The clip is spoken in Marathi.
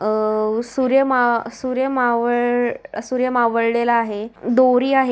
अह सूर्य माह सूर्य मावळ सूर्य मावळलेल आहे. दोरी आ--